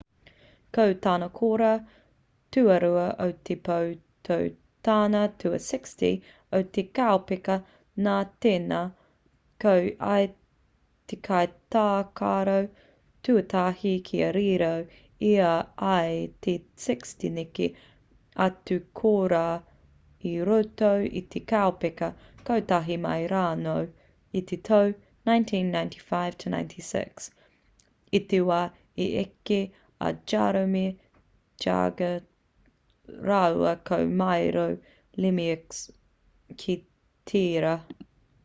ko tāna kōrā tuarua o te pō ko tana tua 60 o te kaupeka nā tēnā ko ia te kai tākaro tuatahi kia riro i a ia te 60 neke atu kōrā i roto i te kaupeka kotahi mai rānō i te tau 1995-96 i te wā i eke a jaromir jagr rāua ko mario lemieux ki tērā